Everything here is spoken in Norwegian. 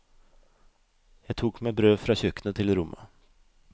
Jeg tok med brød fra kjøkkenet til rommet.